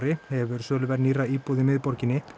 hefur söluverð nýrra íbúða í miðborginni